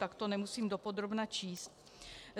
Tak to nemusím dopodrobna číst.